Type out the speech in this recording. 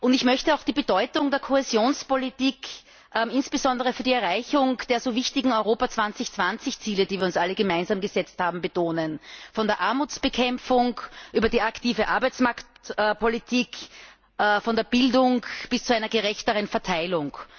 Ich möchte auch die Bedeutung der Kohäsionspolitik insbesondere für die Erreichung der so wichtigen Europa 2020 Ziele, die wir uns alle gemeinsam gesetzt haben, betonen von der Armutsbekämpfung über die aktive Arbeitsmarktpolitik, von der Bildung bis zu einer gerechteren Verteilung.